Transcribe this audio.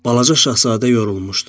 Balaca şahzadə yorulmuşdu.